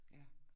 Ja